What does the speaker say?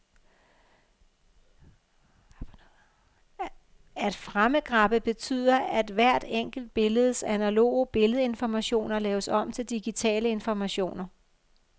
At framegrabbe betyder, at hvert enkelt billedes analoge billedinformationer laves om til digitale informationer.